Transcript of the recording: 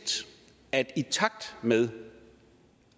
at i takt med